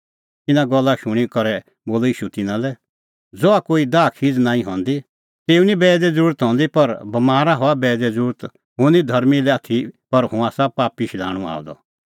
इना गल्ला शूणीं करै बोलअ ईशू तिन्नां लै ज़हा कोई दाहखीज़ नांईं हंदी तेऊ निं बैईदे ज़रुरत हंदी पर बमारा हआ बैईदे ज़रुरत हुंह निं धर्मीं लै आथी पर हुंह आसा पापी शधाणूं आअ द